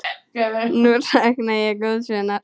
Nú sakna ég góðs vinar.